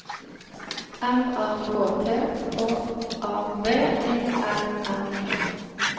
M A K T H A V E R N E